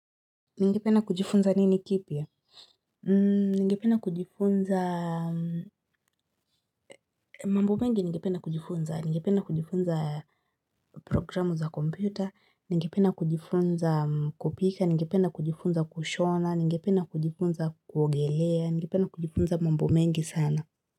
Ningependa kujifunza nini kipya? Ningependa kujifunza mambu mengi ningependa kujifunza. Ningependa kujifunza programu za kompyuta, ningependa kujifunza kupika, ningependa kujifunza kushona, ningependa kujifunza kuogelea, ningependa kujifunza mambo mengi sana.